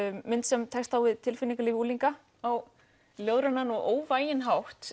mynd sem tekst á við tilfinningalíf unglinga á ljóðrænan og óvæginn hátt